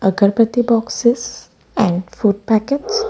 Agarbatti boxes and food packets.